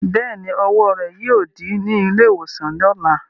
Bẹ́ẹ̀ni, ọwọ́ rẹ̀ yóò dí ní ilé-ìwòsàn lọ̀la.